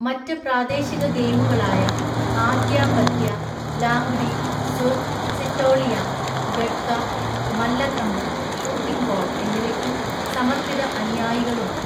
മറ്റ് പ്രാദേശിക ഗെയിമുകളായ ആത്യ പത്യ, ലാംഗ്ഡി, സുർ, സിറ്റോളിയ, ഗട്ക, മല്ലഖമ്പ്, ഷൂട്ടിംഗ് ബോൾ എന്നിവയ്ക്കും സമർപ്പിത അനുയായികളുണ്ട്.